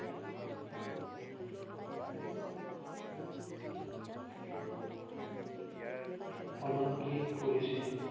অলংকিত কৰিছিল ।